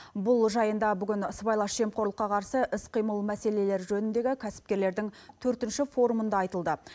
бұл жайында бүгін сыбайлас жемқорлыққа қарсы іс қимыл мәселелері жөніндегі кәсіпкерлердің төртінші форумында айтылды